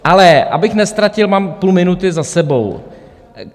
Ale abych neztratil - mám půl minuty za sebou.